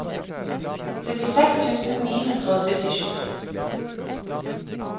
syttiseks tusen ni hundre og syttisju